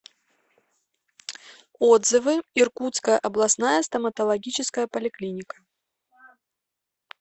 отзывы иркутская областная стоматологическая поликлиника